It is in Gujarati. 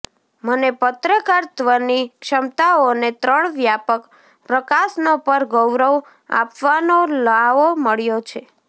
મને પત્રકારત્વની ક્ષમતાઓને ત્રણ વ્યાપક પ્રકાશનો પર ગૌરવ આપવાનો લહાવો મળ્યો છે